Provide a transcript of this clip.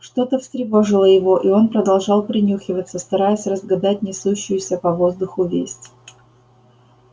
что то встревожило его и он продолжал принюхиваться стараясь разгадать несущуюся по воздуху весть